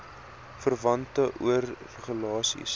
verwante oir regulasies